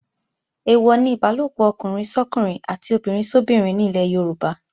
Èèwọ̀ ni Ìbálòpọ̀ ọkùnrin sọ́kùnrin àti obìnrin sóbinrin ní ilẹ̀ Yorùbá